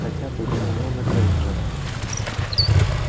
хотя бы гермиона грэйнджер